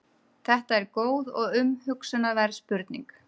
Þetta er góð og umhugsunarverð spurning.